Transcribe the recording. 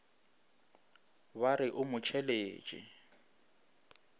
ba re o mo tšheletše